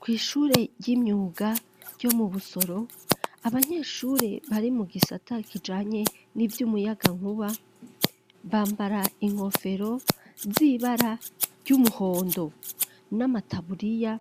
Kw'ishure ry'imyuga, ryo mu Busoro, abanyeshure, bari mu gisata, kijanye n'ivy'umuyagankuba; bambara inkofero, z'ibara ry'umuhondo, n'amataburiya